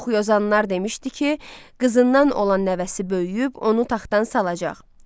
Yuxuyozanlar demişdi ki, qızından olan nəvəsi böyüyüb onun taxtın salacaq.